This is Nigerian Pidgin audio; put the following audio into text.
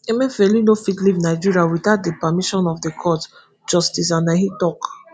emefiele no fit leave nigeria witout di permission of di court justice anenih tok.